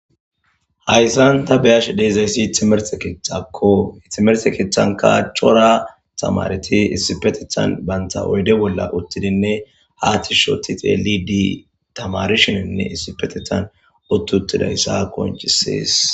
Hayssan ta beyash deezayssi itimerse keethtakko itimerse keeththanka chora tamareti issipetethan banta oyde bolla uttidinne haatishoti xeeli di tamarishininne issipetethan ottutidayssa konchisiis.